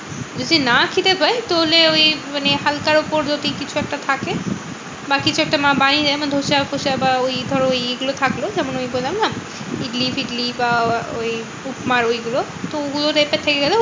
যদি না খিদে পায় তাহলে ওই হালকার উপর যদি কিছু একটা থাকে। বা কিছু একটা মা বানিয়ে দেয় যেমন ধোসা ফোসা বা ওই ধরো ওইগুলো থাকলো যেমন ওই বললাম না? ইডলি টিডলি বা ওই উপমা ঐগুলো তো ওগুলোর